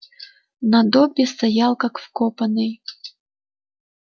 но добби стоял как вкопанный